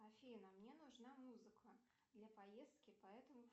афина мне нужна музыка для поездки поэтому